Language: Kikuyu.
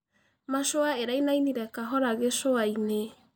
Mashũa ĩraĩnaĩnĩre kahora gĩcũaĩnĩ.